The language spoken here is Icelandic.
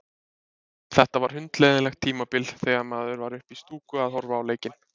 Þetta var hundleiðinlegt tímabil þegar maður var uppi í stúku að horfa á leiki.